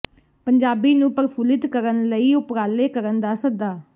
ਪੰਜਾਬੀ ਨੂੰ ਪ੍ਰਫੁੱਲਿਤ ਕਰਨ ਲਈ ਉਪਰਾਲੇ ਕਰਨ ਦਾ ਸੱਦਾ